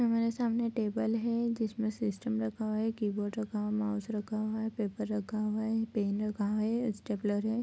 हमारे सामने टेबल है जिसमें सिस्टम रखा हुआ है कीबोर्ड रखा हुआ है माउस रखा हुआ है पेपर रखा हुआ है एक पेन रखा हुआ है ये स्टेप्लर है।